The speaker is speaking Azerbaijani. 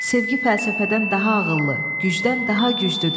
Sevgi fəlsəfədən daha ağıllı, gücdən daha güclüdür.